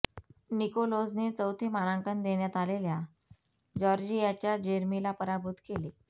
निकोलोझने चौथे मानांकन देण्यात आलेल्या जॉर्जियाच्या जेरमीला पराभूत केले